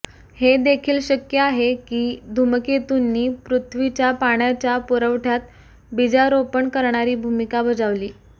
हे देखील शक्य आहे की धूमकेतूंनी पृथ्वीच्या पाण्याच्या पुरवठ्यात बीजारोपण करणारी भूमिका बजावली